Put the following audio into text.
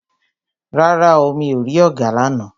Rárá o, mi ò rí ọ̀gà lána.